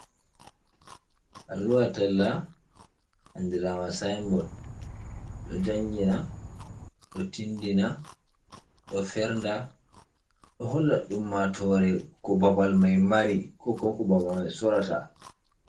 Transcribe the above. Alluha talla andirama signboard: Ɗo jangina, ɗo tindina, ɗo fernda, ɗo holla ummatore ko babal mai mari ko bin babal mai sorata